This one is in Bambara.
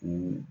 O